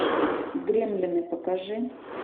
гремлины покажи